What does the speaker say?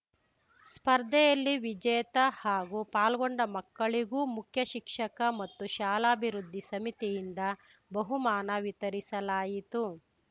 ಸ್ಪರ್ಧೆಯಲ್ಲಿ ವಿಜೇತ ಹಾಗೂ ಪಾಲ್ಗೊಂಡ ಮಕ್ಕಳಿಗೂ ಮುಖ್ಯಶಿಕ್ಷಕ ಮತ್ತು ಶಾಲಾಭಿವೃದ್ಧಿ ಸಮಿತಿಯಿಂದ ಬಹುಮಾನ ವಿತರಿಸಲಾಯಿತು